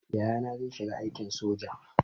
Yayana zai shiga aikin soja